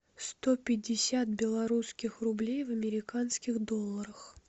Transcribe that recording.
сто пятьдесят белорусских рублей в американских долларах